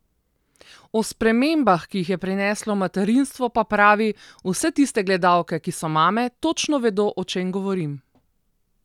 O spremembah, ki jih je prineslo materinstvo, pa pravi: 'Vse tiste gledalke, ki so mame, točno vedo, o čem govorim.